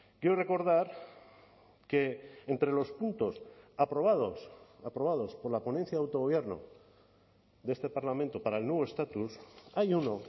quiero recordar que entre los puntos aprobados aprobados por la ponencia de autogobierno de este parlamento para el nuevo estatus hay uno